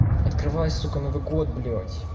открывай сука новый год блядь